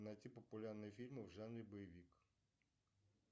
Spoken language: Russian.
сбер официальный фейсбук роллинг стоун